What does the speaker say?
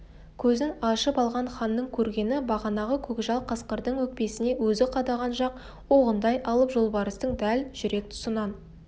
көзін ашып алған ханның көргені бағанағы көкжал қасқырдың өкпесіне өзі қадаған жақ оғындай алып жолбарыстың дәл жүрек тұсынан